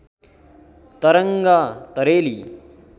तरङ्ग तरेली